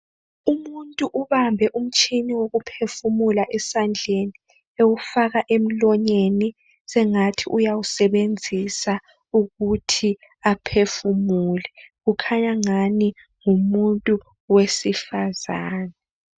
Umuntu ubambe umtshini wokuphefumula esandleni, ewufaka emoyeni sengathi uyawusebenzisa ukuthi aphefumule, ukhanya angani ngumuntu wesifazana.